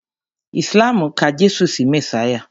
Islam ka Jésù sí Mèsáyà